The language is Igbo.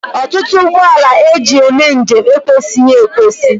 Ọtụtụ ụgbọala e ji eme njem ekwesịghị ekwesị